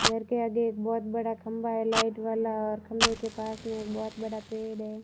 घर के आगे एक बहोत बड़ा खंबा है लाइट वाला और खंबे के पास में एक बहोत बड़ा पेड़ है।